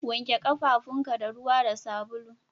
Wanke kafafunka da ruwa da sabulu